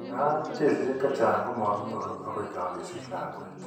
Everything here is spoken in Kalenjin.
Nkaa, keesisiek chechang' ko makinyoru akoi kakesich lakwet.